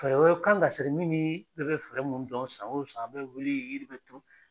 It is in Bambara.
Fɛɛrɛ wɛrɛ kan ka siri min bɛ bɛɛ bɛ fɛɛrɛ minnu dɔn san o san an bɛ wuli yiri bɛ turu.